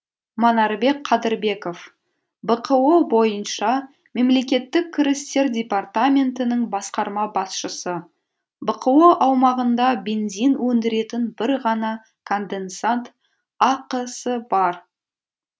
манарбек қадырбеков бқо бойынша мемлекеттік кірістер департаментінің басқарма басшысы бқо аумағында бензин өндіретін бір ғана конденсат ақ сы бар